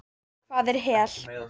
Hvað er hel?